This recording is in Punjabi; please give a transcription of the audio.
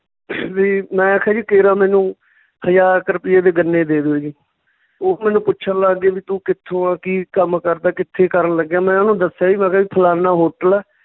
ਵੀ ਮੈਂ ਖਾਨੀ ਕੇਰਾਂ ਮੈਨੂੰ ਹਜ਼ਾਰ ਕੁ ਰੁਪਈਏ ਦੇ ਗੰਨੇ ਦੇ ਦਿਉ ਜੀ ਉਹ ਮੈਨੂੰ ਪੁੱਛਣ ਲੱਗ ਗਏ ਵੀ ਤੂੰ ਕਿੱਥੋਂ ਆਂ ਕੀ ਕੰਮ ਕਰਦਾ ਕਿੱਥੇ ਕਰਨ ਲੱਗਿਆ ਮੈਂ ਉਹਨੂੰ ਦੱਸਿਆ ਜੀ ਮੈਂ ਕਿਹਾ ਜੀ ਫਲਾਨਾ hotel ਆ